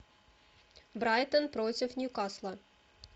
брайтон против ньюкасла